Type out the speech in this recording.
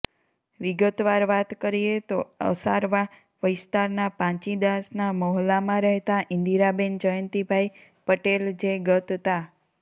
વિગતવાર વાત કરીએ તો અસારવા વિસ્તારના પાંચીદાસના મહોલ્લામાં રહેતા ઈન્દિરાબેન જ્યંતીભાઈ પટેલ જે ગત તા